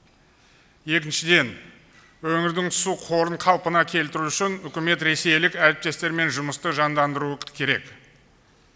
екіншіден өңірдің су қорын қалпына келтіру үшін үкімет ресейлік әріптестермен жұмысты жандандыруы керек